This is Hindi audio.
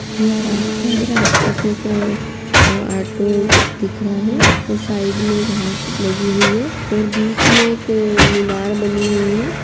यह रास्ता है। रास्ते पे एक अ अ ऑटो दिख रहा है और साइडमें घास लगी हुई है और बीच मे एक अ मीनार बनी हुई है।